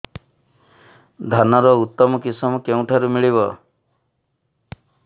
ଧାନର ଉତ୍ତମ କିଶମ କେଉଁଠାରୁ ମିଳିବ